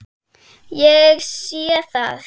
Ég sé það.